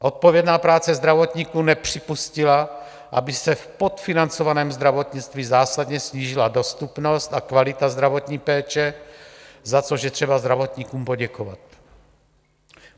Odpovědná práce zdravotníků nepřipustila, aby se v podfinancovaném zdravotnictví zásadně snížila dostupnost a kvalita zdravotní péče, za což je třeba zdravotníkům poděkovat.